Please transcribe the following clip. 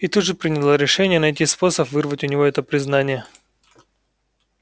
и тут же приняла решение найти способ вырвать у него это признание